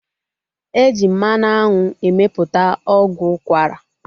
E ji mmanụ anwụ emeputa ọgwụ ukwara